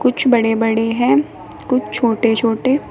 कुछ बड़े बड़े है कुछ छोटे छोटे--